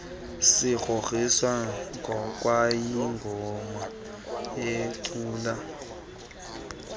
sikrokriswa kwayingoma eculwa